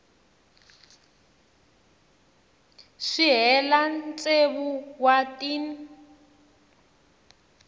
si hela tsevu wa tin